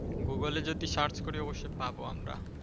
Google এ যদি Search করি অবশ্যই পাব আমরা।